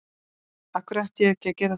Af hverju ætti ég ekki að gera það?